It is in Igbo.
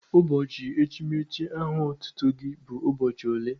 Ụbọchị echimechi aha otutu gị bụ ụbọchị ole?